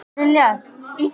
og Sig.